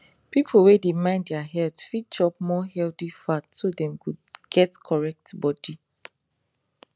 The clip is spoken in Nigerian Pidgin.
people wey dey mind their health fit chop more healthy fat so dem go get correct body